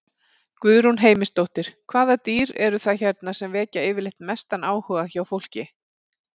Guðrún Heimisdóttir: Hvaða dýr eru það hérna sem vekja yfirleitt mestan áhuga hjá fólki?